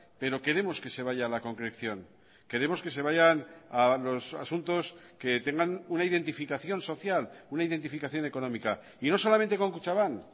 pero queremos que se vaya a la concreción queremos que se vayan a los asuntos que tengan una identificación social una identificación económica y no solamente con kutxabank